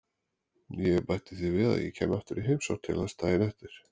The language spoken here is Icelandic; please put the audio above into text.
Ég bætti því við að ég kæmi aftur í heimsókn til hans daginn eftir.